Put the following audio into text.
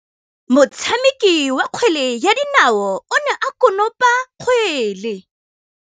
Motshameki wa kgwele ya dinaô o ne a konopa kgwele.